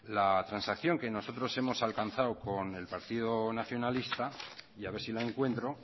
la transacción que nosotros hemos alcanzado con el partido nacionalista y a ver si la encuentro